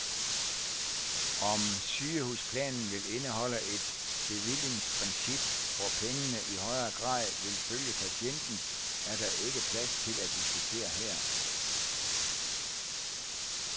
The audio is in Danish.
Om sygehusplanen vil indeholde et bevillingsprincip, hvor pengene i højere grad vil følge patienten, er der ikke plads til at diskutere her.